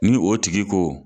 Ni o tigi ko